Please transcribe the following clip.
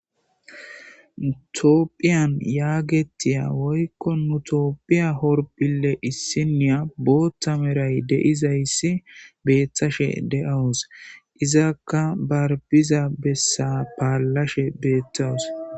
Tophphiyan yaagetiya woykko nu tophphiya horphphille issiniya booththa meray de'izayssi beettashe de'awus. Izakka ba biza bessa paallashe beetawus.